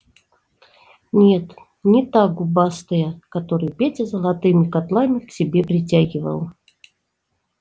нет не та губастая которую петя золотыми котлами к себе притягивал